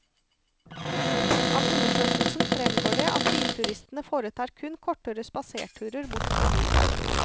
Av undersøkelsen fremgår det at bilturistene foretar kun kortere spaserturer bort fra bilen.